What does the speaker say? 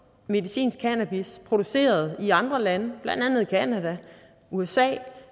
medicinsk cannabis produceret i andre lande blandt andet canada usa